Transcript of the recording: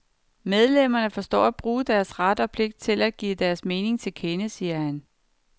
Medlemmerne forstår at bruge deres ret og pligt til give deres mening til kende, siger han.